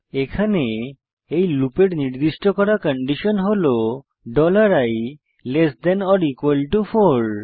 এখন এই লুপের নির্দিষ্ট করা কন্ডিশন হল i less than or equal to 4